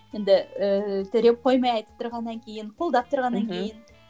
енді ыыы төрем қоймай айтып тұрғаннан кейін қолдап тұрғаннан кейін мхм